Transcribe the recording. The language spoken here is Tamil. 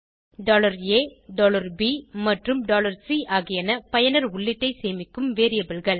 a b மற்றும் c ஆகியன பயனர் உள்ளீட்டை சேமிக்கும் variableகள்